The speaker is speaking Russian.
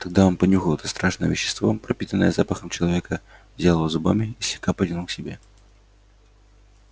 тогда он понюхал это страшное вещество пропитанное запахом человека взял его зубами и слегка потянул к себе